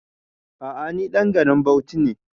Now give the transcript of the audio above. A'a ni ɗan garin Bauchi ne